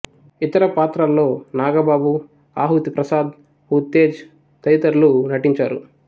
ఇతర పాత్రల్లో నాగబాబు ఆహుతి ప్రసాద్ ఉత్తేజ్ తదితరులు నటించారు